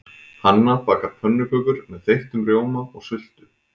Hanna bakar pönnukökur með þeyttum rjóma og sultu.